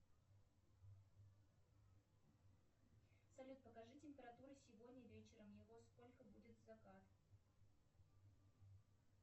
салют покажи температуру сегодня вечером и во сколько будет закат